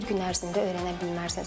Bir gün ərzində öyrənə bilməzsən.